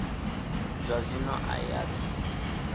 zwa zwino a i athu